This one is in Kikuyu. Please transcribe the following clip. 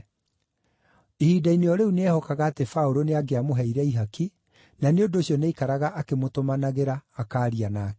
Ihinda-inĩ o rĩu no ehokaga atĩ Paũlũ nĩangĩamũheire ihaki, na nĩ ũndũ ũcio nĩaikaraga akĩmũtũmanagĩra, akaaria nake.